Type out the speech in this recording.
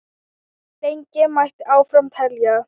Lengi mætti áfram telja.